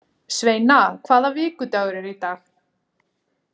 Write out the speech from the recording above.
Sveina, hvaða vikudagur er í dag?